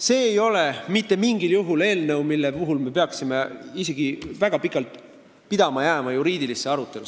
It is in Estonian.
See ei ole mitte mingil juhul eelnõu, mida arutades me peaksime väga pikalt pidama jääma juriidilisse arutellu.